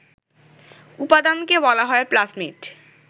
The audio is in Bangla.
উপাদানকে বলা হয় প্লাজমিড